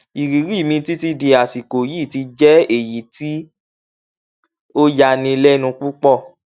ìrírí mi títí di àsìkò yìí ti jẹ èyí tí ó yani lẹnu púpọ